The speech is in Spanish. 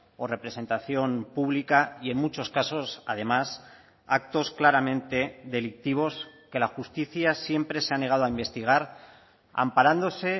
o representación pública y en muchos casos además actos claramente delictivos que la justicia siempre se ha negado a investigar amparándose